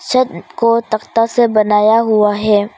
छत को तकता से बनाया हुआ है।